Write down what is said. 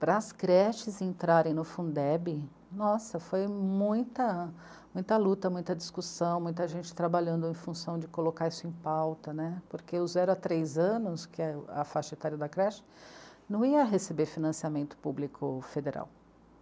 Para as creches entrarem no Fundeb, nossa, foi muita, muita luta, muita discussão, muita gente trabalhando em função de colocar isso em pauta né, porque os zero a três anos, que é a faixa etária da creche, não ia receber financiamento público federal.